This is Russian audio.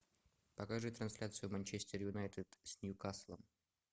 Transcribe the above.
покажи трансляцию манчестер юнайтед с ньюкаслом